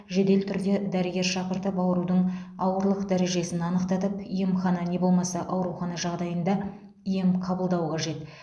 жедел түрде дәрігер шақыртып аурудың ауырлық дәрежесін анықтатып емхана не болмаса аурухана жағдайында ем қабылдау қажет